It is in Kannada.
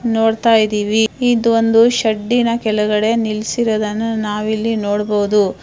ನೋಡತಾಯಿದ್ವಿ ಇದು ಒಂದು ಶೆಡಿ ನ ಕೆಳಗಡೆ ನಿಲ್ಸಿರೋದನ್ನು ನಾವು ಇಲ್ಲಿ ನೋಡಬಹುದು.